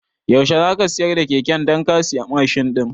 Yaushe zaka siyar da keken dan ka siya Mashin ɗin?